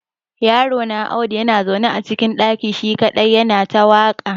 Yarona Audu na zaune a cikin ɗaki shi kadai ya na ta waƙa.